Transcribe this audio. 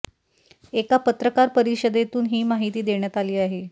एका पत्रकार परिषदेतून ही माहिती देण्यात आली आहे